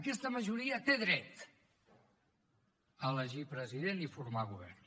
aquesta majoria té dret a elegir president i formar govern